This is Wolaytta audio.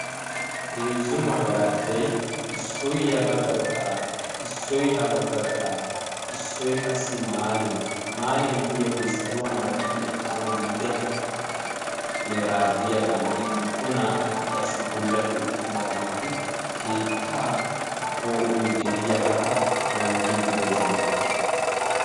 heezzu magarajjay issoy ya bagga gaxaara qassi issoy ha bagga gaxaara eqqidaagee keettaa poo'ooy yaanne haa geliyaaga teqoosona.